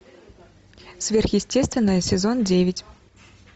сверхъестественное сезон девять